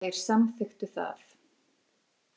Þeir samþykktu það.